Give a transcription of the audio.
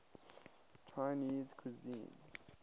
chinese cuisine